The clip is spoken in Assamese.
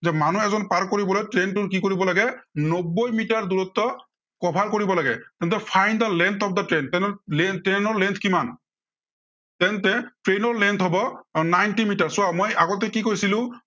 যে মানুহ এজন পাৰ কৰিবলৈ train টোৰ কি কৰিব লাগে নব্বৈ মিটাৰ দূৰত্ব cover কৰিব লাগে, তেন্তে find the length of the train তেন্তে train ৰ length কিমান? তেন্তে train ৰ length হব ninety মিটাৰ। চোৱা মই আগতে কি কৈছিলো।